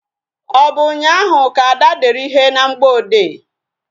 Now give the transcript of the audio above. Ọ bụ ụnyaahụ ka Ada dere ihe na mgboode?